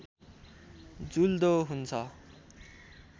जुल्दो हुन्छ